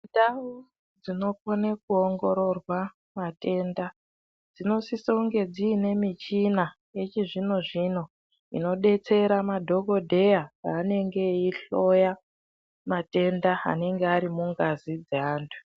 Ndau dzinojone kuongororwa matenda dzinosisa kunge dziine michina yechizvino zvino dzinodetsera madhokodheya paanenge eihloya matenda anenge ari mungazi dzeanthu.